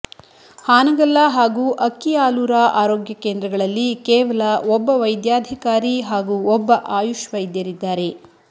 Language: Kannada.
ಹಾನಗಲ್ಲ ಹಾಗೂ ಅಕ್ಕಿಆಲೂರ ಆರೋಗ್ಯ ಕೇಂದ್ರಗಳಲ್ಲಿ ಕೇವಲ ಒಬ್ಬ ವೈದ್ಯಾಧಿಕಾರಿ ಹಾಗೂ ಒಬ್ಬ ಆಯುಷ್ ವೈದ್ಯರಿದ್ದಾರೆ